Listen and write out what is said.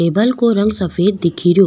Table को रंग सफ़ेद दिखेरो।